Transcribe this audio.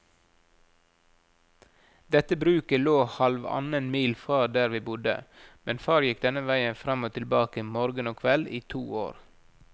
Dette bruket lå halvannen mil fra der vi bodde, men far gikk denne veien fram og tilbake morgen og kveld i to år.